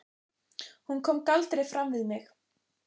Hún kom galdri fram við mig.